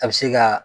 A bɛ se ka